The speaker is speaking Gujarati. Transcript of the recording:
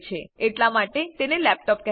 એટલા માટે તેને લેપટોપ કહેવાય છે